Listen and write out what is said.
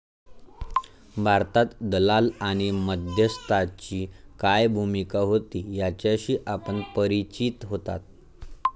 भारतात दलाल आणि मध्यस्थाची काय भूमिका होती याच्याशी आपण परिचित होतात.